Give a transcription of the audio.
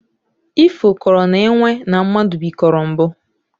Ifo kọrọ na enwe na mmadụ bikoro mbụ